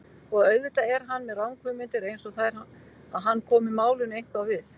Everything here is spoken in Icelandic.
Og auðvitað er hann með ranghugmyndir einsog þær að hann komi málinu eitthvað við.